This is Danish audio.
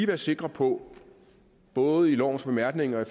være sikre på både i lovens bemærkninger og i